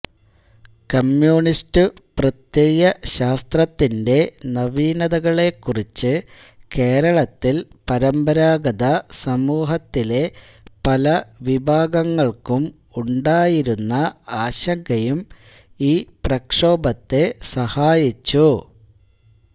communist പ്രത്യയശാസ്ത്രത്തിന്റെ നവീനതകളെക്കുറിച്ച് കേരളത്തിൽ പരമ്പരാഗത സമൂഹത്തിലെ പലവിഭാഗങ്ങൾക്കും ഉണ്ടായിരുന്ന ആശങ്കയും ഈ പ്രക്ഷോഭത്തെ സഹായിച്ചു